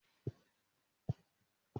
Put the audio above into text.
Mo máa se ilá ní ọjọ́ àìkú tí ó ń bọ̀